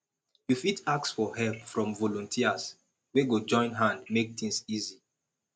you fit ask for help from volunteers wey go join hand make things easy